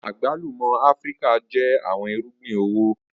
Agbalumo Afirika jẹ awọn irugbin owo.